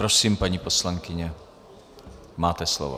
Prosím, paní poslankyně, máte slovo.